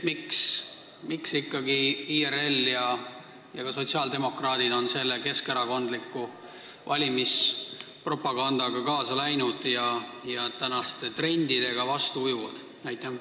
Miks ikkagi IRL ja ka sotsiaaldemokraadid on selle keskerakondliku valimispropagandaga kaasa läinud ja tänaste trendidega võrreldes vastuvoolu ujuvad?